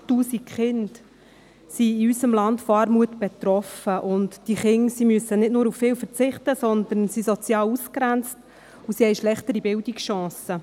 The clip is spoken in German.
108 000 Kinder sind in unserem Land von Armut betroffen, und diese Kinder müssen nicht nur auf viel verzichten, sondern sie sind sozial ausgegrenzt und haben schlechtere Bildungschancen.